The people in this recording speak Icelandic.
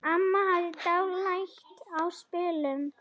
Amma hafði dálæti á spilum.